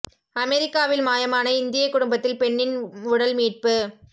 அமெரிக்காவில் மாயமான இந்திய குடும்பத்தில் பெண்ணின் உடல் மீட்பு